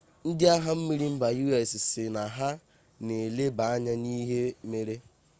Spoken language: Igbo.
ndị agha mmiri mba us sị na ha na-eleba anya n'ihe mere